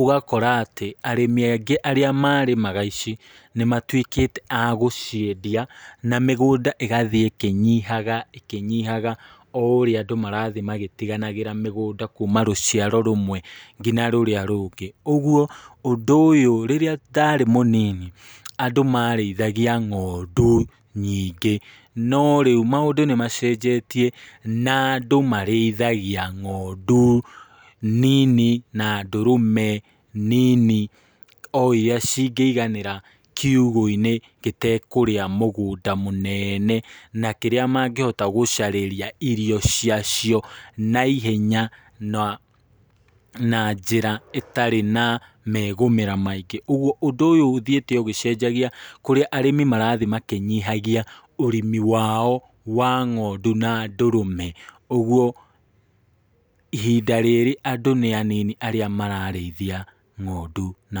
ũgakora atĩ arĩmi angĩ arĩa marĩmaga ici, nĩmatwĩkĩte agũciendia na mĩgũnda ĩgathiĩ ĩkĩnyihaga, ĩkĩnyihaga o ũrĩa andũ marathiĩ magĩtiganagĩra mĩgũnda kuma rũciaro rũmwe nginya rũrĩa rũngĩ, ũgwo ũndũ ũyũ rĩrĩa ndarĩ mũnini andũ marĩithagia ng´ondu nyingĩ, no rĩu maũndũ nĩ macenjetie , na andũ marĩithagia ng´ondu nini na ndũrũme nini o iria cingĩiganĩra kiugũ-inĩ gĩtekũrĩa mũgũnda mũnene , na kĩrĩa mangĩhota gũcarĩria irio cia cio na ihenya na njĩra itarĩ na megũmĩra maingĩ, ũgwo ũndũ ũyũ ũthiĩte ũgĩcenjagia kũrĩa arĩmi marathiĩ makinyihagia ũrĩmi wao wa ng´ondu na ndũrũme, ũgwo ihinda rĩrĩ andũ nĩ anini arĩa mararĩithia ng´ondu na ndũrũme.